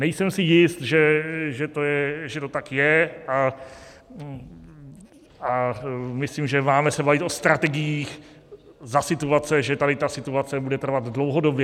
Nejsem si jist, že to tak je, a myslím, že se máme bavit o strategiích za situace, že tady ta situace bude trvat dlouhodobě.